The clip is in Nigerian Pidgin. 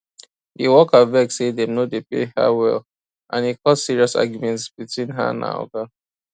the worker vex say dem no dey pay her well and e cause serious argument between her and her oga